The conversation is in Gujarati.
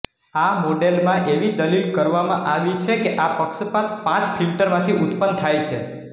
આ મોડેલમાં એવી દલીલ કરવામાં આવી છે કે આ પક્ષપાત પાંચ ફિલ્ટરમાંથી ઉત્પન્ન થાય છે